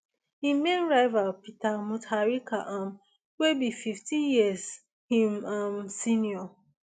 im main rival peter mutharika um wey be fifteen years im um senior